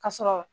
Ka sɔrɔ